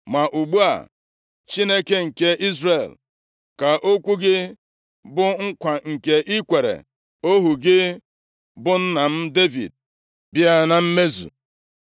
Ma ugbu a, Chineke nke Izrel, ka okwu gị, bụ nkwa nke i kwere ohu gị, bụ nna m Devid, bịa na mmezu.